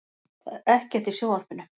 Það er ekkert í sjónvarpinu.